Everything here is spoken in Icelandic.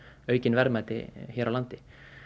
aukin verðmæti hér á landi